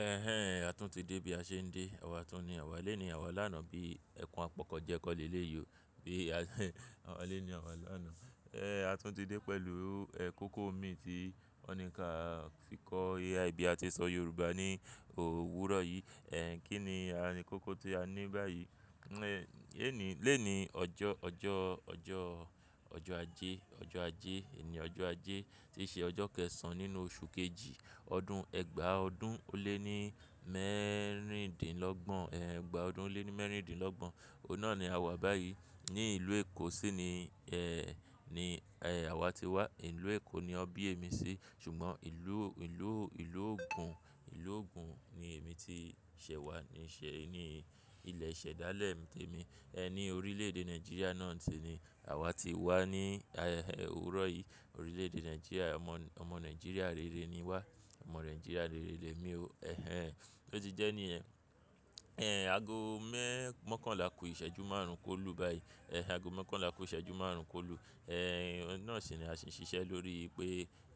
Ẹhẹ́n, a tún ti dé bí a ṣe ń dé. Àwa tún ní àwa lónìí, àwa lánàá bí ẹ̀kún àpọ̀kọ jẹ́ kọ́ nílé yíò. Bí àwa lónìí, àwa lánàá. A tún ti dé pẹ̀lú ẹ̀kọ́ kó mi tí ó ní ká fi kọ́ AI bí a ti ṣọ Yorùbá ní òwúrọ̀ yìí. Kí ni àń kókó tí a ní báyìí? Lónìí, lónìí ọjọ́, ọjọ́, ọjọ́, ọjọ́ ajé, ọjọ́ ajé, òní ọjọ́ ajé tí í ṣe ọjọ́ kẹsàn nínú oṣù kejì, ọdún ẹgba ọdún ó lé ní mẹ́rìndínlọ́gbọ̀n, ẹgba ọdún ó lé ní mẹ́rìndínlọ́gbọ̀n. Òhun náà ni àwa báyìí. Ní ìlú Èkó sì ni, ẹ́, ni, ẹ́, àwa ti wá. Ìlú Èkó ni ọbí emi sì, ṣùgbọ́n ìlú, ìlú, ìlú ògùn, ìlú ògùn ni èmi ti ṣẹ̀ wá, níṣe, ni ilẹ̀ ìṣẹ̀dálẹ̀ mi témi. Ẹni orílè èdè Nigeria náà sì ni àwa ti wá ní, ẹ́, òwúrọ̀ yìí. Orílè èdè Nigeria, ọmọ, ọmọ Nigeria rere ni wá. Ọmọ Nigeria rere lé mi ò. Ẹhẹ́n. Bi oti jẹ́ ní yẹ̀n ago mẹ́-mọ́kànlá kú ìṣẹ́jú márùn-ún kó lù báyìí. Ago mokànlá kú ìṣẹ́jú márùn-ún kó lù. Òhun nàa sì ni a sì ń ṣiṣẹ́ lórí pé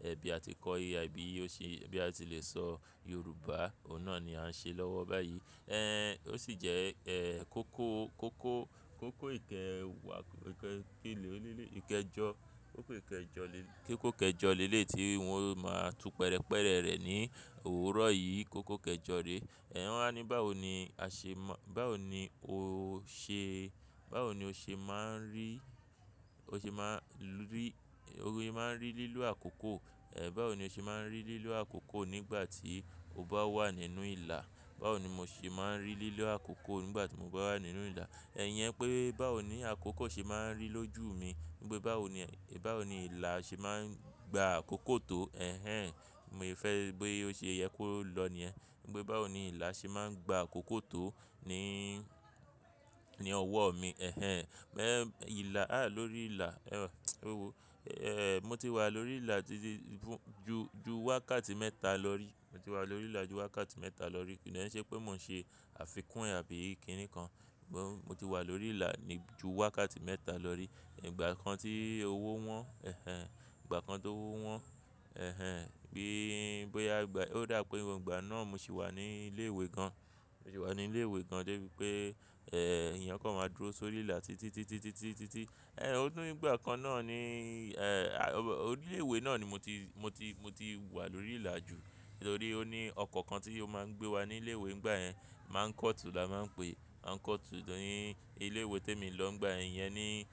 ẹ bí a ti kọ́ AI bí ó sì, bí a ti le sọ Yorùbá, ọ̀hun náà ni a ń ṣe lọ́wọ́ báyìí. Ẹ̀, ó sì jẹ́, ẹ́, kókó, kókó, kókó ìkẹ wà, ìkẹ, kí ló ní lé, ìkẹjọ, kókó ìkẹ jọ lé, kí kókó kẹ jọ lé lé tí wọ n máa tú pẹrẹpẹrẹ rẹ̀ ní òwúrọ̀ yìí. Kókó kẹ jọ re. Wọ́n wá ní báwo ni a ṣe má, báwo ni o ṣe, báwo ni o ṣe máa ń rí, o ṣe má rí, o máa ń rí lílọ̀ àkókò. Ẹ̀, báwo ni o ṣe máa ń rí lílọ̀ àkókò nígbà tí o bá wà nínú ìlà. Báwo ni mo ṣe máa ń rí lílọ̀ àkókò nígbà tí mo bá wà nínú ìlà. Iyẹn pé báwo ni àkókò ṣe máa ń rí lójú mi. Nípè báwo ni, báwo ni ìlà ṣe máa ń gba àkókò tó, ẹ̀hẹ́n, mo fẹ́ bi ó ṣe yẹ kó lọ ni ẹ́. Nígbè báwo ni ìlà ṣe máa ń gba àkókò tó ní, ní ọwọ́ mi. Ẹhẹ́n, ìlà, à lórí ìlà, mo ti wà lórí ìlà títí ju, ju wákàtí mẹ́ta lọ rí. Mo ti wà lórí ìlà ju wákàtí mẹ́ta lọ rí. Kí dẹ́ ń ṣe pé mò ń ṣe àfikún àbí kíni kan. Mo ti wà lórí ìlà ju wákàtí mẹ́ta lọ rí. Ìgbà kan tí owó wọ́n, ẹ̀hẹ́n, ìgbà kan tó owó wọ́n, ẹ̀hẹ́n, bí, bóyá ìgbà ó dà pé nígbà náà mo sì wà ní ilé ìwé kan. Mo sì wà ní ilé ìwé kan dé pé, ẹ́, èèyàn kó máa dúró sórí ìlà títí, títí, títí, títí. Ó nìgbà kan náà ni, ẹ́, ilé ìwé náà ni mo ti, mo ti, mo ti wà lórí ìlà ju. Nítorí ó ní ọkọ̀ kan tí ó máa ń gbé wa ní ilé ìwé nígbà yẹn. Mánkọ́tù la máa ń pè. Mánkọ́tù. Ní ilé ìwé tí èmi lọ nígbà yẹn iyem ni,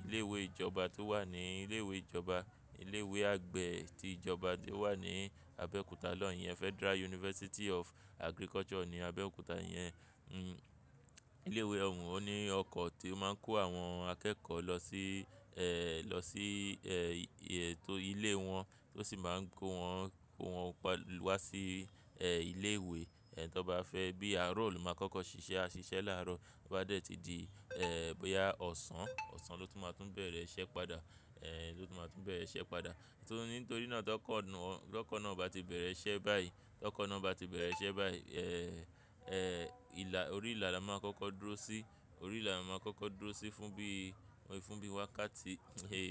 ilé ìwé ìjọba tó wà ní, ilé ìwé ìjọba, ilé ìwé àgbẹ̀ tí ìjọba dé wà ní Abẹ́òkúta lọ́hun yẹn. Federal University of Agriculture ni Abẹ́òkúta. Ilé ìwé òun ó ní ọkọ̀ tó máa ń kó àwọn akẹ́kọ̀ọ́ lọ sí, lọ sí, ètò ilé wọn tó sì máa ń kó wọn, kó wọn wa sí, ẹ́, ilé ìwé. Tó bá fẹ́ bí àárọ̀ olùkọ́ kọ́kọ́ ṣiṣẹ́, a ṣiṣẹ́ láàárọ̀. Bi o bá dẹ̀ tí di, bóyá ọ̀sán, ọ̀sán ló tún máa tún bẹ̀rẹ̀ iṣẹ́ padà. Ẹ̀, ló tún máa tún bẹ̀rẹ̀ iṣẹ́ padà. Nítorí náà tó kọ̀nà, tó kọ̀nà bá ti bẹ̀rẹ̀ iṣẹ́ báyìí, tó kọ̀nà bá ti bẹ̀rẹ̀ iṣẹ́ báyìí, ìlà, orí ìlà la máa kọ́kọ́ dúró sí. Orí ìlà la máa kọ́kọ́ dúró sí fún bí, fún bí wákàtí,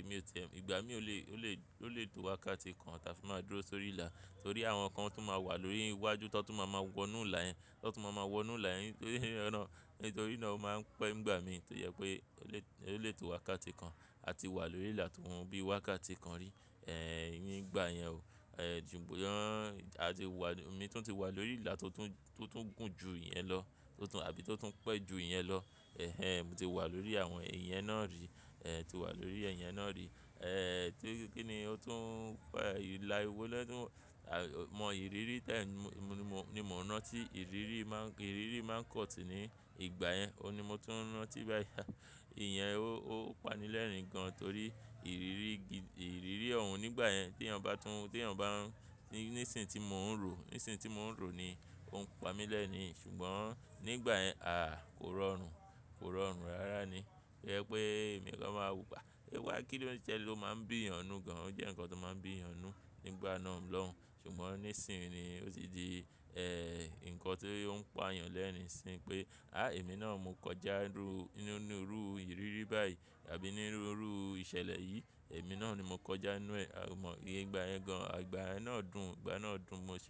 mi ò ti, ìgbà mi ò le, ò le, ò lè tó wákàtí kan tàfi máa dúró sórí ìlà. Torí àwọn kan tun máa wà lórí iwájú tó tún máa máa wọnú ìlà yẹn, tó tún máa máa wọnú ìlà yẹn. Nítorí náà ó máa ń pẹ́ ìgbà mi tó yẹ pé ó lè, ó lè tó wákàtí kan. A ti wà lórí ìlà tó bíi wákàtí kan rí. Nígbà yẹn ò. A ti wà, mi tún ti wà lórí ìlà tó tún, tó tún gùn ju ìyẹn lọ, tó tún àbí tó tún pẹ́ ju ìyẹn lọ. Mo ti wà lórí àwọn iyẹn náà rí. Tí wà lórí iyẹn náà rí. Tí, kí ni ó tún pẹ́, ìlà ìwọ lẹ́ tún mọ ìrírí tẹ̀ ni mo, ni mo ti ń rántí. Ìrírí máa ń, ìrírí máa ń kọ̀tì ní ìgbà yẹn. Óhun ni mo ti ń rántí báyìí. Ìyẹn ó, ó pani lẹ́rìn gan torí ìrírí gidi, ìrírí òun nígbà yẹn tí èèyàn bá tún, tí èèyàn bá ń, ní, ní ìsìn tí mò ń rò, ní ìsìn tí mò ń rò ni ó ń pa mi lẹ́nu. Ṣùgbọ́n nígbà yẹn, à, kò rọrùn. Kò rọrùn rárá ni. To jẹ pé ẹ̀mí kan máa wupa. Ó máa ń bí èèyàn nù gan an. Ó jẹ́ nǹkan tó máa ń bí èèyàn nù nígbà náà lòun. Ṣùgbọ́n nísin yìí ni òtì dí, ǹkan tó ń pa èèyàn lẹ́rin nisìn pé, "à ẹ̀mí náà mo kọjá rú, nínú rú ìrírí báyìí àbí nínú rú ìṣẹ̀lẹ̀ yìí, èmi náà ni mo kọjá nù ẹ́." Ò mọ̀ ní ìgbà yẹn gan an. Ìgbà yẹn náà dùn, ìgbà náà dùn mo ṣe.